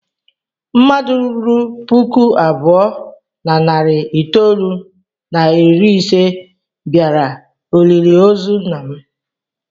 Mmadụ ruru puku abụọ na narị itoolu na iri ise bịara olili ozu nna m.